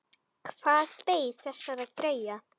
Hvað beið þessara greyja?